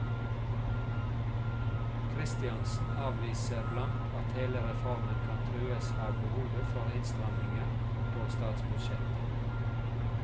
Kristiansen avviser blankt at hele reformen kan trues av behovet for innstramninger på statsbudsjettet.